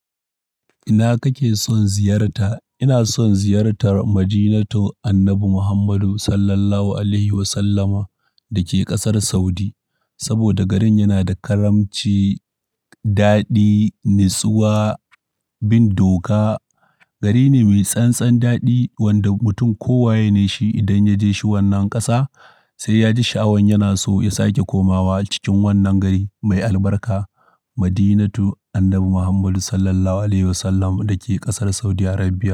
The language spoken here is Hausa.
Ina kake son ziyarta? Ina son ziyartar Madinatu annabi Muhammadu sallallahu alaihi wasallama dake ƙasar Saudi. Saboda garin yana da karamci, daɗi, nutsuwa, bin doka. Gari ne mai tsantsan daɗi wanda mutum kowa ne shi idan ya je shi wannan ƙasa sai ya ji sha'awan yana so ya sake komawa cikin wannan gari mai albarka Madinatu annabi Muhammadu sallallahu alaihi wasallama dake ƙasar Saudi Arabia.